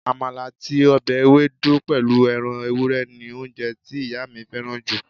Àmàlà àti ọbẹ̀ ewédú pẹ̀lú ẹran ewúrẹ́ ni oúnjẹ tí ìyá mi fẹ́ràn jù